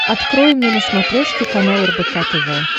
открой мне на смотрешке канал рбк тв